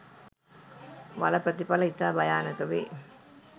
වල ප්‍රථිපල ඉතා භයානක වේ.